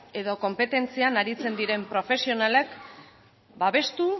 edo konpetentzian aritzen diren profesionalek babestu